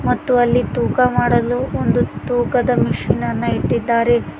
ಮತ್ತು ಅಲ್ಲಿ ತುಕಾ ಮಾಡಲು ಒಂದು ತೂಕದ ಮಿಷೀನ್ ನ್ನ ಇಟ್ಟಿದ್ದಾರೆ.